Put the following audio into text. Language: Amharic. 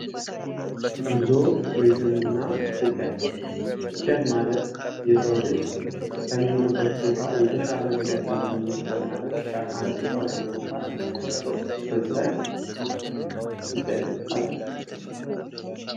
ጉዞ ቱሪዝምና ስደት ስደት ማለት የሰው ልጅ ከሚኖርበት ቦታ የተሻለ ነገር ለማግኘት በማለት ከአንድ ቦታ ወደ አንድ ቦታ የሚያደርገው ፍልሰት ይባላል።